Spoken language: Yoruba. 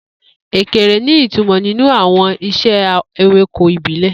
Ekere ní ìtumọ̀ nínú àwọn ìṣe ewéko ìbílẹ̀.